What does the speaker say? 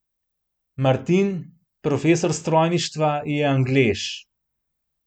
Martin, profesor strojništva, je Anglež.